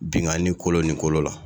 Binkanni kolo ni kolo la